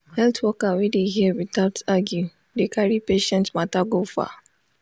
health worker wey dey hear without argue dey carry patient matter go far.